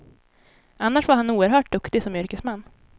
Annars var han oerhört duktig som yrkesman.